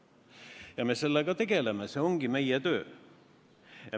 Ja me tegeleme sellega, see ongi meie töö.